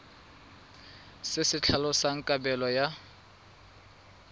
se se tlhalosang kabelo ya